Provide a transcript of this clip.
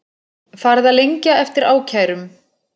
Farið að lengja eftir ákærum